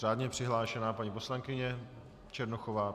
Řádně přihlášená paní poslankyně Černochová.